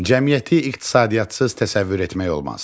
Cəmiyyəti iqtisadiyyatsız təsəvvür etmək olmaz.